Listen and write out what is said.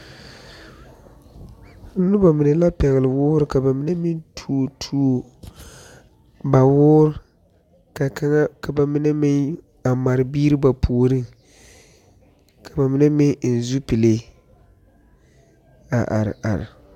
Noba mine la pɛgeli ba wɔɔre ka ba mine meŋ tuo ba wɔɔr ka ba mine meŋ mare biiri ba puoriŋ ka ba mine meŋ eŋ zupile a are are.